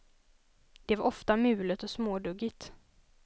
Det var ofta mulet och småduggigt.